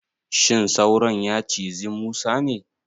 Shin sauron ya cizi Musa ne?